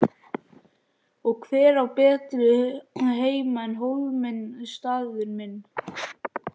Og hver á betri heima en Hólminn staðinn minn.